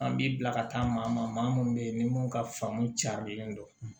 An b'i bila ka taa maa maa minnu bɛ yen ni mun ka famu carilen don